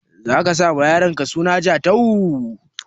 Zaka sa ma yaronka suna Jatau?